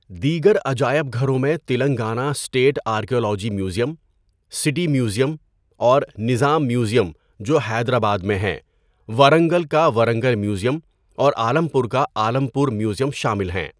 دیگر عجائب گھروں میں Telangana state archaeology museum, city museum اور نظام میوزیم جو حیدرآباد میں ہیں، ورنگل کا ورنگل میوزیم اور عالم پور کا عالم پور میوزیم شامل ہیں۔